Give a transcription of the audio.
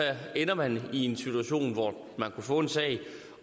ender man i en situation hvor man vil kunne få en sag